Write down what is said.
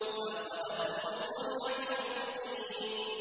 فَأَخَذَتْهُمُ الصَّيْحَةُ مُشْرِقِينَ